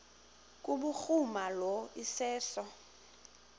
kubhuruma lo iseso